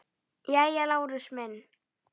Jæja, Lárus minn.